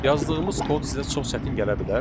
Yazdığımız kod sizə çox çətin gələ bilər.